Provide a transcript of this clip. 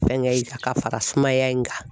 Fɛnkɛ in a ka fara sumaya in kan.